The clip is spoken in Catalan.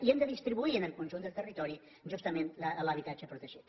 i hem de distribuir en el conjunt del territori justament l’habitatge protegit